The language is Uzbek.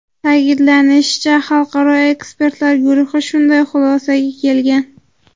Ta’kidlanishicha, Xalqaro ekspertlar guruhi shunday xulosaga kelgan.